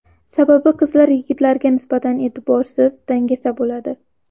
Sababi qizlar yigitlarga nisbatan e’tiborsiz, dangasa bo‘ladi.